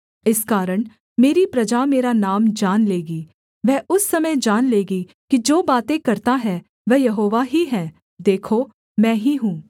इस कारण मेरी प्रजा मेरा नाम जान लेगी वह उस समय जान लेगी कि जो बातें करता है वह यहोवा ही है देखो मैं ही हूँ